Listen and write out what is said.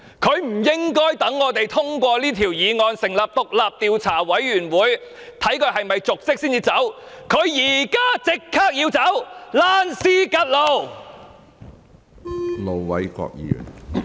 她不應該待我們通過此項議案，成立獨立調查委員會調查她有否瀆職才下台，她現在就立即要下台，"躝屍趌路"。